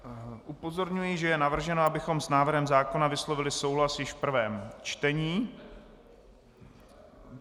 Upozorňuji, že je navrženo, abychom s návrhem zákona vyslovili souhlas již v prvém čtení.